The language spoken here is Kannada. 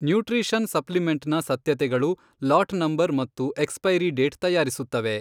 ನ್ಯೂಟ್ರಿಷನ್ ಸಪ್ಲಿಮೆಂಟ್ ನ ಸತ್ಯತೆಗಳು ಲಾಟ್ ನಂಬರ್ ಮತ್ತು ಎಕ್ಸ್ ಪೈರೀ ಡೇಟ್ ತಯಾರಿಸುತ್ತವೆ.